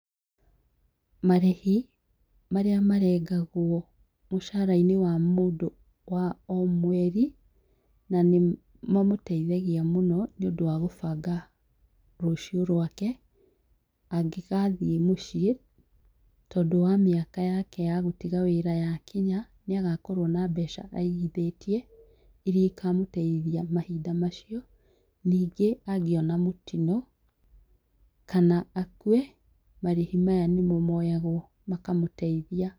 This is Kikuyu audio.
Marĩhi marĩa marengagwo mũcara-inĩ wa mũndũ wa o mweri, na nĩmo mateithagia mũno nĩũndũ wa gũbanga rũciũ rwake angĩgathiĩ mũciĩ tondũ wa mĩaka yake ya gũtiga wĩra yakinya nĩagakorwo na mbeca aigithĩtie iria cikamũteitha mahinda macio ningĩ agĩa na mũtino kana akue, marĩhi maya nĩmo moyagwo makamũteithia.